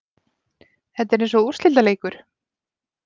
Þetta er eins og úrslitaleikur.